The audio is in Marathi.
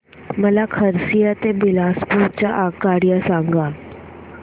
मला खरसिया ते बिलासपुर च्या आगगाड्या सांगा